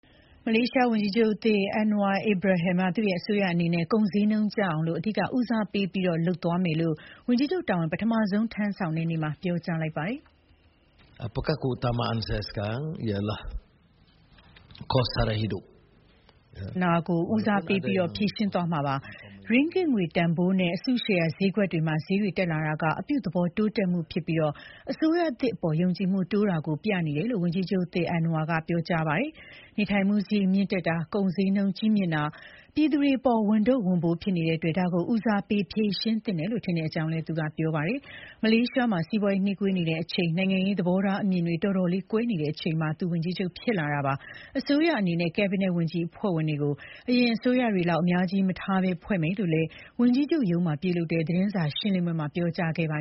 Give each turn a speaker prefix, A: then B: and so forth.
A: မလေးရှားဝန်ကြီးချုပ်သစ် Anwar Ibrahim က သူ့ရဲ့အစိုးရအနေနဲ့ ကုန်ဈေးနှုန်းကျဆင်းအောင် အဓိက ဦးစားပေးလုပ်သွားမယ်လို့ ဝန်ကြီးချုပ်တာဝန် ပထမဆုံးထမ်းဆောင်တဲ့ နေ့မှာပြောကြားလိုက်ပါတယ်။ က
B: ုန်ဈေးနှုန်းကြီးမြင့်နေတဲ့ပြ
A: ဿနာကို ပထမဦးစားပေး ဖြေရှင်းသွားမှာဖြစ်ပါတယ်။ ရင်းဂစ်ငွေတန်ဖိုးနဲ့ အစုရှယ်ယာဈေးကွက်တွေမှာ ဈေးတွေတက်လာနေတာဟာ အပြုသဘော တိုးတက်မှုဖြစ်ပြီး အစိုးရသစ်အပေါ် ယုံကြည်မှုတိုးလာတယ်ဆိုတာ ပြသနေတယ်လို့ ဝန်ကြီးချုပ်သစ် Anwar ကပြောကြားခဲ့တာဖြစ်ပါတယ်။ နေထိုင်မှုစရိတ်မြင့်တက်နေတာ၊ ကုန်ကြီးနှုန်းကြီးမြင့်နေတာက ပြည်သူတွေအပေါ် ဝန်ထုတ်ဝန်ပိုးကြီးဖြစ်နေတဲ့အတွက် ဒါကို ဦးစားပေးဖြေရှင်းသင့်တယ် ထင်ပါတယ်လို့လည်း သူကပြောကြားခဲ့ပါတယ်။ မလေးရှားနိုင်ငံမှာ စီးပွားရေး နှေးကွေးနေချိန်၊ နိုင်ငံရေး သဘောထားအမြင်တွေ တော်တော်လေးကွဲနေချိန်မှာ သူဝန်ကြီးချုပ်ဖြစ်လာတာဖြစ်ပါတယ်။ သူ့အစိုးရအနေနဲ့ Cabinet ဝန်ကြီးအဖွဲ့ဝင်တွေကို အရင်အစိုးရတွေလောက် အများကြီးမထားဘဲ ဖွဲ့စည်းမယ်လို့လည်း ဝန်ကြီးချုပ်ရုံးမှာ ပြုလုပ်တဲ့ သတင်းစာရှင်းပွဲမှာ ပြောကြားသွားခဲ့ပါ